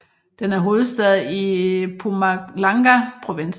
Den er hovedstad i Mpumalanga provinsen